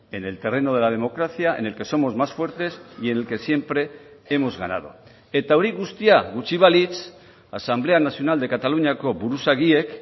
en el terreno de la democracia en el que somos más fuertes y en el que siempre hemos ganado eta hori guztia gutxi balitz asamblea nacional de cataluñako buruzagiek